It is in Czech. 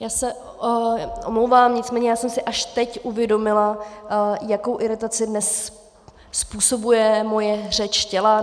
Já se omlouvám, nicméně já jsem si až teď uvědomila, jakou iritaci dnes způsobuje moje řeč těla.